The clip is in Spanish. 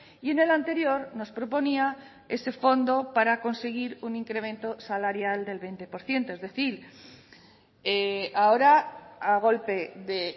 y en el anterior nos proponía ese fondo para conseguir un incremento salarial del veinte por ciento es decir ahora a golpe de